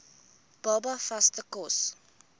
baba vaste kos